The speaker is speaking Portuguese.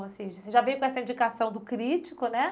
Ou seja, você já veio com essa indicação do crítico, né?